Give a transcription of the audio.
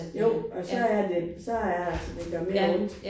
Jo og så er det så er det altså det gør mere ondt